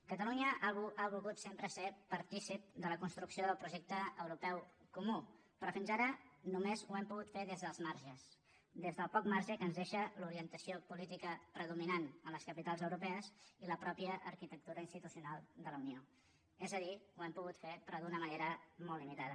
catalunya ha volgut sempre ser partícip de la construcció del projecte europeu comú però fins ara només ho hem pogut fer des dels marges des del poc marge que ens deixa l’orientació política predominant a les capitals europees i la mateixa arquitectura institucional de la unió és a dir ho hem pogut fer però d’una manera molt limitada